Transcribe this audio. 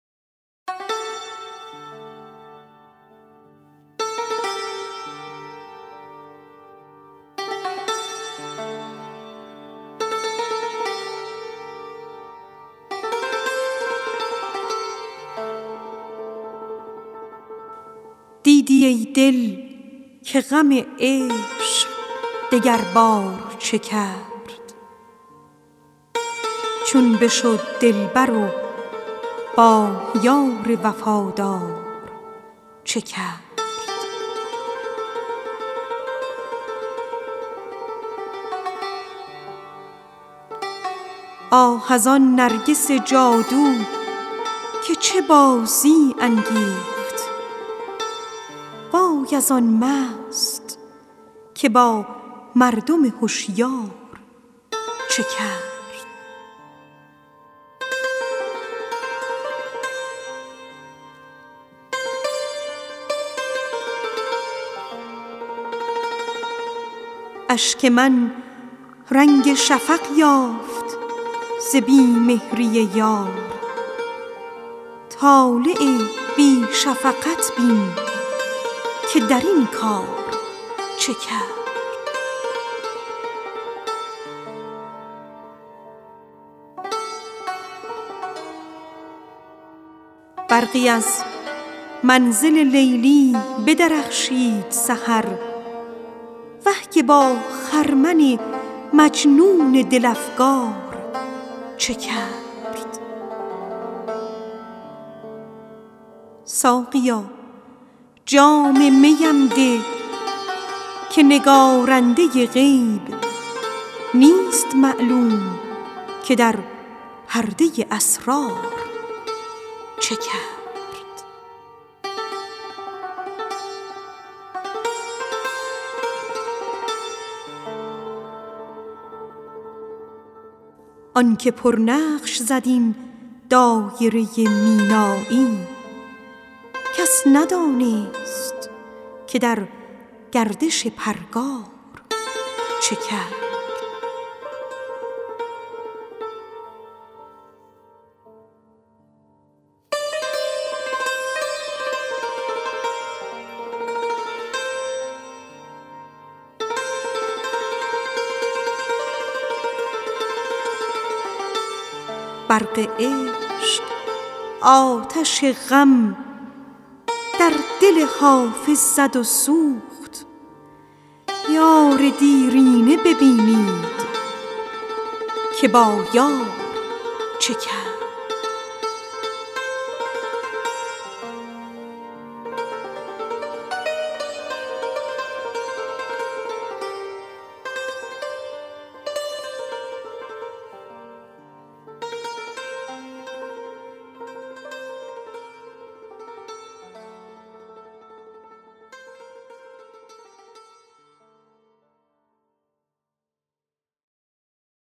دیدی ای دل که غم عشق دگربار چه کرد چون بشد دلبر و با یار وفادار چه کرد آه از آن نرگس جادو که چه بازی انگیخت آه از آن مست که با مردم هشیار چه کرد اشک من رنگ شفق یافت ز بی مهری یار طالع بی شفقت بین که در این کار چه کرد برقی از منزل لیلی بدرخشید سحر وه که با خرمن مجنون دل افگار چه کرد ساقیا جام می ام ده که نگارنده غیب نیست معلوم که در پرده اسرار چه کرد آن که پرنقش زد این دایره مینایی کس ندانست که در گردش پرگار چه کرد فکر عشق آتش غم در دل حافظ زد و سوخت یار دیرینه ببینید که با یار چه کرد